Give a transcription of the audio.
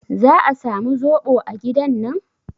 Za a samu zoɓo a gidan nan?